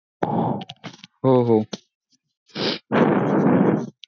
हो हो.